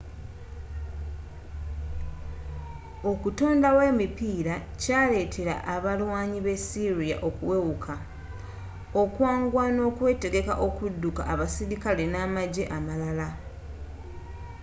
okutondawo emipiira kyaleetera abalwaanyi b'essyria okuwewuka okwanguwa n'okwetegekera okuduka abasirikale namajje amalala